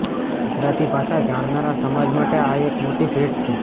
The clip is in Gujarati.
ગુજરાતી ભાષા જાણનારા સમાજ માટે આ એક મોટી ભેટ છે